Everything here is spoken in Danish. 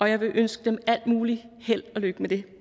jeg vil ønske dem alt mulig held og lykke med det